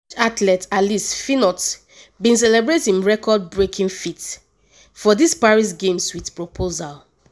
french athlete alice finot bin celebrate im record-breaking feat for di paris games wit proposal.